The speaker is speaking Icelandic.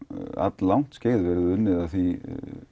langt skeið hefur verið unnið að því